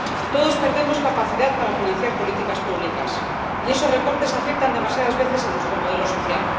Todos perdemos capacidad para financiar políticas públicas, y esos recortes afectan demasiadas veces a nuestro modelo social.